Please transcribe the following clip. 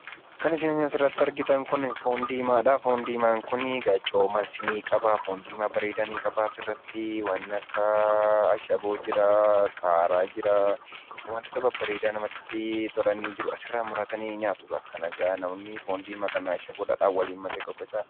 Kan isin asirratti argitan kun foon diimaadha. Foon diimaan kuni coomas ni qaba. Foon diimaa bareeda ni qaba. Asirrattii waan akka ashaboo jiraa, qaaraa jiraa, wantoota babbareeda namatti tolani jiru. Asirraa muratanii nyaatukaa. Kanakaa namoonni foon diimaa kana ashaboof dhadhaan waliin makee qoqqocaa.